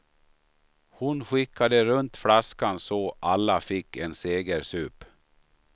Hon skickade runt flaskan, så alla fick en segersup.